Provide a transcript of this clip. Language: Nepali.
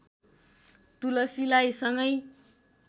तुलसीलाई सँगै